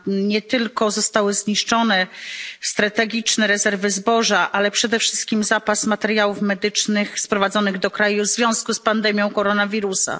Nie tylko zostały zniszczone strategiczne rezerwy zboża, ale przede wszystkim zapas materiałów medycznych sprowadzonych do kraju w związku z pandemią koronawirusa.